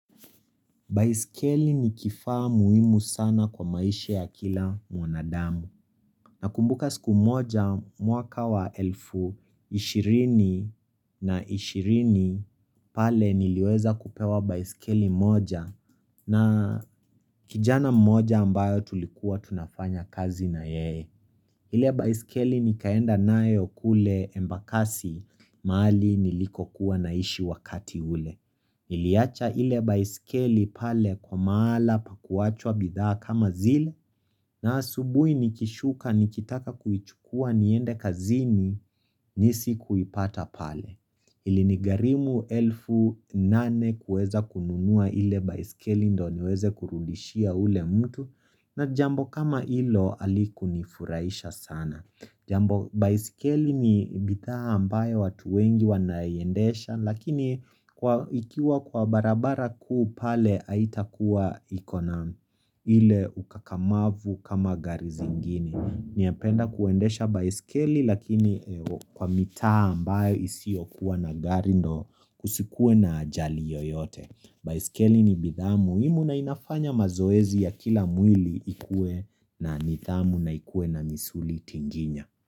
Baiskeli ni kifaa muhimu sana kwa maisha ya kila mwanadamu. Nakumbuka siku moja mwaka wa elfu 20 na 20 pale niliweza kupewa baiskeli moja na kijana moja ambayo tulikuwa tunafanya kazi na yeye. Ile baiskeli nikaenda nayo kule embakasi mahali niliko kuwa naishi wakati ule. Niliyacha ile baisikeli pale kwa mahala pakuachwa bidhaa kama zile na asubui nikishuka nikitaka kuichukua niende kazini ni si kuipata pale Ilinigarimu elfu nane kueza kununua ile baisikeli ndo niweze kurudishia ule mtu na jambo kama hilo halikunifuraisha sana Jambo baisikeli ni bidhaa ambayo watu wengi wanaiendesha lakini ikiwa kwa barabara kupale aitakuwa ikona ile ukakamavu kama gari zingine Ninapenda kuendesha baisikeli lakini kwa mitaa ambayo isiokuwa na gari ndo kusikue na ajali yoyote Biskeli ni bidhaa muhimu na inafanya mazoezi ya kila mwili ikue na nithamu na ikue na misuli tinginya.